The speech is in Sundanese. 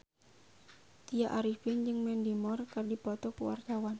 Tya Arifin jeung Mandy Moore keur dipoto ku wartawan